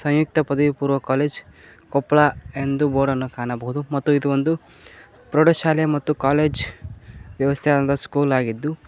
ಸಂಯುಕ್ತ ಪದವಿ ಪೂರ್ವ ಕಾಲೇಜ್ ಕೊಪ್ಲ ಎಂದು ಬೋರ್ಡ್ ಅನ್ನು ಕಾಣಬಹುದು ಮತ್ತು ಇದು ಒಂದು ಪ್ರೌಢಶಾಲೆ ಮತ್ತು ಕಾಲೇಜ್ ವ್ಯವಸ್ತೆಯಾದ ಸ್ಕೂಲ್ ಆಗಿದ್ದು--